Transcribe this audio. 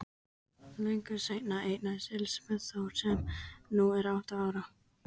Löngu seinna eignaðist Elísabet Þór sem nú er átta ára.